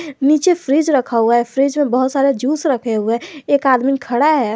नीचे फ्रिज रखा हुआ है फ्रिज में बहोत सारे जूस रखे हुए है एक आदमी खडा़ है।